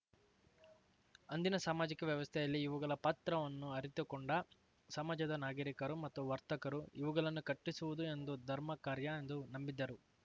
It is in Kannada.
ಅಂದಿನ ಸಾಮಾಜಿಕ ವ್ಯವಸ್ಥೆಯಲ್ಲಿ ಇವುಗಳ ಪಾತ್ರವನ್ನು ಅರಿತುಕೊಂಡ ಸಮಾಜದ ನಾಗರೀಕರು ಮತ್ತು ವರ್ತಕರು ಇವುಗಳನ್ನು ಕಟ್ಟಿಸುವುದು ಒಂದು ಧರ್ಮಕಾರ್ಯ ಎಂದು ನಂಬಿದ್ದರು